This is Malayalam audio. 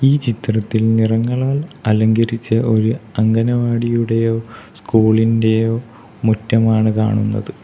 ഈ ചിത്രത്തിൽ നിറങ്ങളാൽ അലങ്കരിച്ച ഒരു അംഗനവാടിയുടെയോ സ്കൂളിന്റെയോ മുറ്റമാണ് കാണുന്നത്.